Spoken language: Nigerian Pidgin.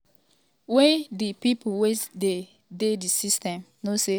wen um di pipo wey dey di system know say oga no be thief i um get zero tolerance for corruption" e tok.